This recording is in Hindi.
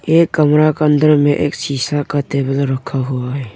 यह कमरा के अंदर में एक सीसा का टेबल रखा हुआ है।